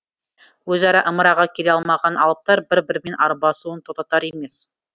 өзара ымыраға келе алмаған алыптар бір бірімен арбасуын тоқтатар емес